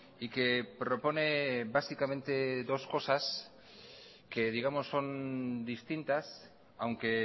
y que propone básicamente dos cosas distintas aunque